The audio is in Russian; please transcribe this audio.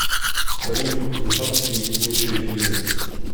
салют высоцкии лучшие фильмы